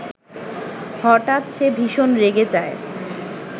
হঠাৎ সে ভীষণ রেগে যায়